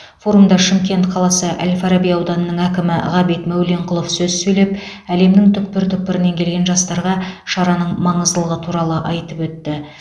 форумда шымкент қаласы әл фараби ауданының әкімі ғабит мәуленқұлов сөз сөйлеп әлемнің түкпір түкпірінен келген жастарға шараның маңыздылығы туралы айтып өтті